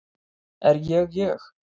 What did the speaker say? Er ég ég?